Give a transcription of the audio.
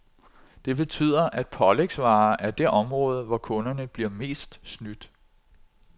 Det betyder, at pålægsvarer er det område, hvor kunderne bliver mest snydt.